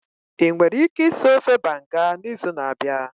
Ị nwere ike ịsị ofe Banga n'izu na-abịa?